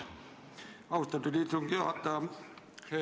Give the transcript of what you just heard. Austatud istungi juhataja!